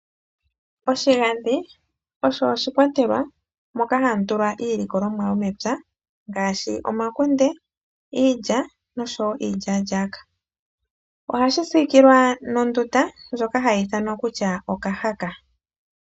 Oshigandhi osho oshikwatelwa moka hamutulwa iilikolomwa yomepya ngaashi omakunde, iilya noshowo iilyaa-lyaaka. Oha yi siikilwa nondunda ndjoka hayi ithanwa kutya okahaka.